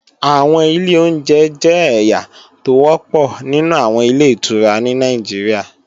Àwọn ilé oúnjẹ jẹ́ ẹ̀yà tó wọ́pọ̀ nínú àwọn Ilé-ìtura ní Nàìjíríà